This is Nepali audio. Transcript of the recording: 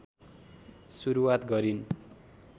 सुरुवात गरिन्